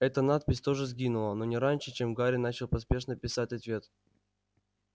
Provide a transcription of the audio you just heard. эта надпись тоже сгинула но не раньше чем гарри начал поспешно писать ответ